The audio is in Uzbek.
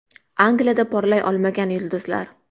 Angliyada porlay olmagan yulduzlar .